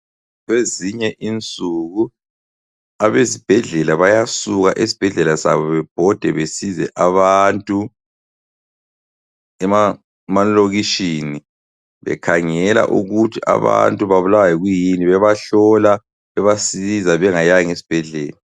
Kwezinye insuku, abezibhedlela bayasuka esibhedlela sabo bebhode besize abantu emalokitshini, bekhangela ukuthi abantu babulawa yikuyini, bebahlola, bebasiza bengayanga esibhedlela.